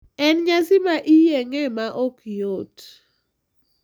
En nyasi ma iyeng`e ma ok yot.